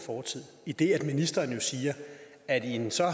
fortid idet ministeren jo siger at i en så